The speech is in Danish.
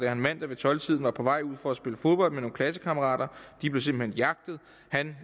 han mandag ved tolv tiden var på vej ud for at spille fodbold med nogle klassekammerater de blev simpelt hen